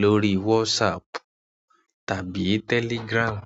lórí WhatsApp tàbí Telegram.